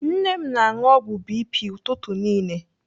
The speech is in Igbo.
Nne m na-anụ ọgwụ BP ụtụtụ niile.